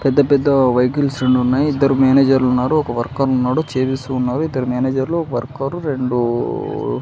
పెద్ద-పెద్ద vehicles రెండున్నాయి ఇద్దరు manager లు ఉన్నారు ఒక వర్కరు ఉన్నాడు చేపిస్తూ ఉన్నారు ఇద్దరు మేనేజర్ లు ఒక వర్కరు రెండూ --